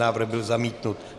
Návrh byl zamítnut.